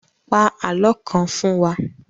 Pa àlọ́ kan fún wa!